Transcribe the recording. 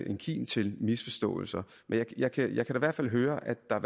en kilde til misforståelser men jeg kan da i hvert fald høre at der